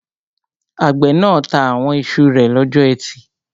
Àgbẹ̀ náà ta àwọn iṣu rẹ̀ lọ́jọ́ ẹtì